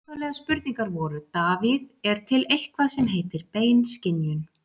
Upphaflegar spurningar voru: Davíð: Er til eitthvað sem heitir bein skynjun?